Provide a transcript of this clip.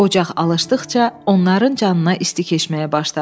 Ocaq alışdıqca onların canına isti keçməyə başladı.